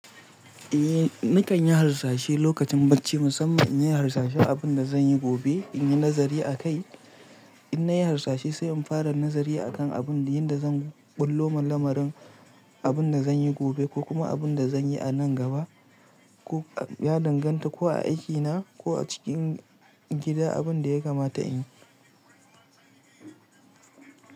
Eh nakan yi harsashe lokacin bacci musamman in yi harsashe abun da zan yi gobe in yi nazari a kai. In na yi hasashe sai in fara nazari akan abun da yanda zan ɓullo mun lamarin abun da zan yi gobe ko kuma abun da zan yi a nan gaba ko ya danganta ko a aikina ko a cikin gida abun da ya kamata in yi.